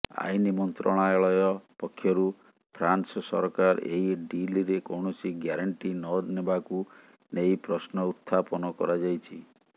ଆଇନ ମନ୍ତ୍ରଣାଳୟ ପକ୍ଷରୁ ଫ୍ରାନ୍ସ ସରକାର ଏହି ଡିଲରେ କୌଣସି ଗ୍ୟାରେଣ୍ଟି ନନେବାକୁ ନେଇ ପ୍ରଶ୍ନ ଉତ୍ଥାପନ କରାଯାଇଛି